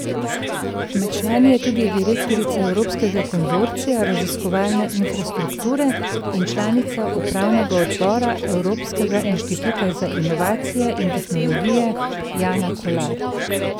Med člani je tudi direktorica Evropskega konzorcija raziskovalne infrastrukture in članica upravnega odbora Evropskega inštituta za inovacije in tehnologije Jana Kolar.